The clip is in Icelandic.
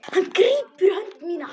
Hann grípur um hönd mína.